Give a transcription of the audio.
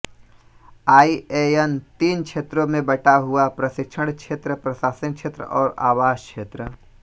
INA तीन क्षेत्रों में बंटा हुआ है प्रशिक्षण क्षेत्र प्रशासनिक क्षेत्र और आवास क्षेत्र